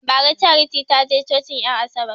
Bara charity taje cocin en asabar